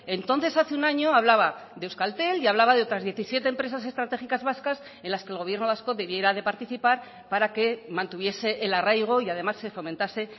entonces hace un año hablaba de euskaltel y hablaba de otras diecisiete empresas estratégicas vascas en las que el gobierno vasco debiera de participar para que mantuviese el arraigo y además se fomentase